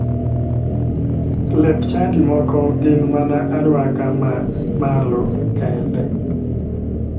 Lep chadi moko gin mana aruaka ma malo kende.